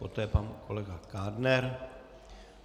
Potom pan kolega Kádner.